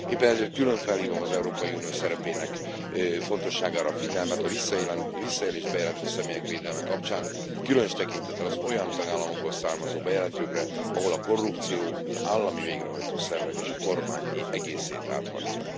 Éppen ezért külön felhívom az Európai Unió szerepének fontosságára a figyelmet a visszaélést bejelentő személyek védelme kapcsán, különös tekintettel az olyan tagállamokból származó bejelentőkre, ahol a korrupció az állami végrehajtó szervek és a kormány egészét áthatja.